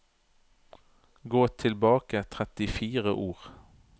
Gå tilbake trettifire ord